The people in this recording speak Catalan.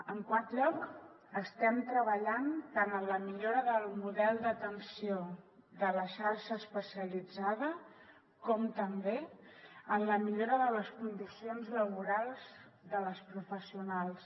en quart lloc estem treballant tant en la millora del model d’atenció de la xarxa especialitzada com també en la millora de les condicions laborals de les professionals